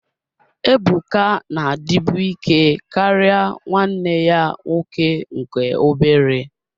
Ebuka na-adịbu ike karịa nwanne ya nwoke nke obere